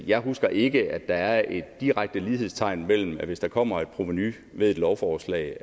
jeg husker ikke at der er et direkte lighedstegn mellem at hvis der kommer et provenu ved et lovforslag